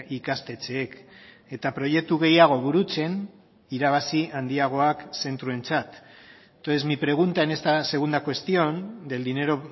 ikastetxeek eta proiektu gehiago burutzen irabazi handiagoak zentroentzat entonces mi pregunta en esta segunda cuestión del dinero